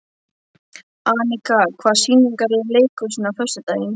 Anika, hvaða sýningar eru í leikhúsinu á föstudaginn?